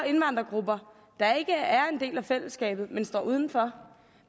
indvandrergrupper der ikke er en del af fællesskabet men står uden for